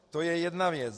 To je jedna věc.